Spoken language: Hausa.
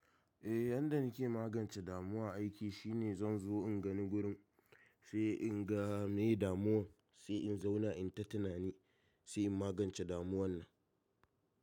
Eh, yadda nike magance damuwa aiki shine zan zo in gani gurin, sai in ga me damuwan, sai in zauna in tatunani, sai in magance damuwan nan.